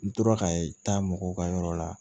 N tora ka taa mɔgɔw ka yɔrɔ la